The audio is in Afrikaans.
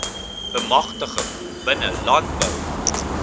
bemagtiging binne landbou